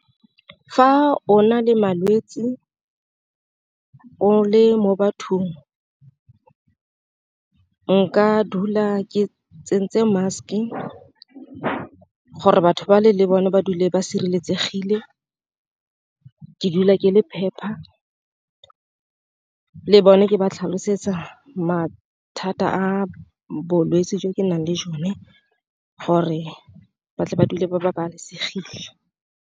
Fa ona le malwetsi o le mo bathong nka dula ke tsentse mask-e ka gore batho ba le le bone ba dule ba sireletsegile, ke dula ke le phepa le bone ke ba tlhalosetsa mathata a bolwetsi jo ke nang le jone gore ba tle ba dule ba babalesegile.